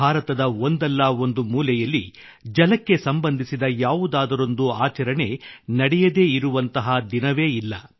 ಭಾರತದ ಒಂದಲ್ಲಾ ಒಂದು ಮೂಲೆಯಲ್ಲಿ ಜಲಕ್ಕೆ ಸಂಬಂಧಿಸಿದ ಯಾವುದಾದರೊಂದು ಆಚರಣೆ ನಡೆಯದೇ ಇರುವಂತಹ ದಿನವೇ ಇಲ್ಲ